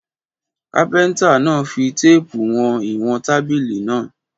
Kápẹ́ńtà náà fi téépù ìwọ̀n wọn tábìlì náà.